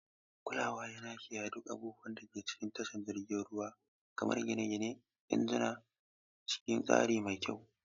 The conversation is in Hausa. Kulawa yana kiyaye duk abin da ke cikin tashar jiragen ruwa, kamar gine-gine da injuna, cikin tsari mai kyau.